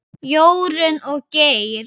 Jórunn og Geir.